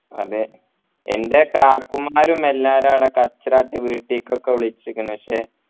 അതെ എൻ്റെ കാക്കുമാരും എല്ലാരും ആട കച്ചറ ആക്കി വീട്ടിക്കൊക്കെ വിളിച്ചിക്കുന്നു പക്ഷെ